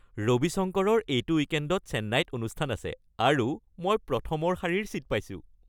ৰবি শংকৰৰ এইটো উইকেণ্ডত চেন্নাইত অনুষ্ঠান আছে আৰু মই প্ৰথমৰ শাৰীৰ ছীট পাইছোঁ!